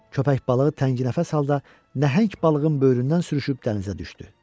Köpək balığı tənginəfəs halda nəhəng balığın böyründən sürüşüb dənizə düşdü.